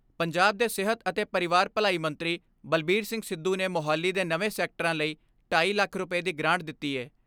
ਪੰਜਾਬ ਦੇ ਸਿਹਤ ਅਤੇ ਪਰਿਵਾਰ ਭਲਾਈ ਮੰਤਰੀ ਬਲਬੀਰ ਸਿੰਘ ਸਿੱਧੂ ਨੇ ਮੋਹਾਲੀ ਦੇ ਨਵੇਂ ਸੈਕਟਰਾਂ ਲਈ ਢਾਈ ਲੱਖ ਰੁਪਏ ਦੀ ਗਰਾਂਟ ਦਿੱਤੀ ਏ।